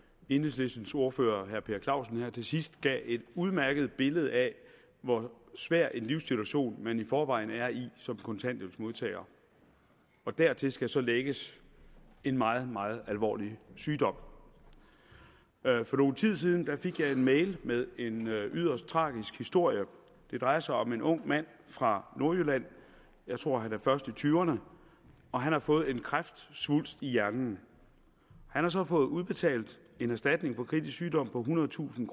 enhedslistens ordfører herre per clausen her til sidst gav et udmærket billede af hvor svær en livssituation man i forvejen er i som kontanthjælpsmodtager og dertil skal så lægges en meget meget alvorlig sygdom for nogen tid siden fik jeg en mail med en yderst tragisk historie det drejer sig om en ung mand fra nordjylland jeg tror han er først i 20’erne og han har fået en kræftsvulst i hjernen han har så fået udbetalt en erstatning for kritisk sygdom på ethundredetusind